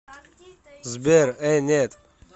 сбер э нет